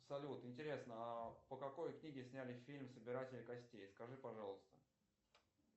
салют интересно а по какой книге сняли фильм собиратели костей скажи пожалуйста